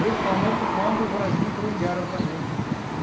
Principalmente quando o Brasil entrou em guerra também, né?